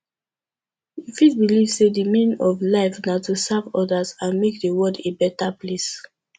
you fit believe say di meaning of life na to serve others and make di world a beta place